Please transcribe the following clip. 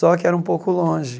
Só que era um pouco longe.